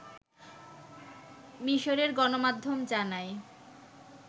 মিসরের গণমাধ্যম জানায়